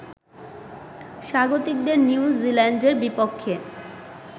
স্বাগতিকদের New জিল্যান্ডের বিপক্ষে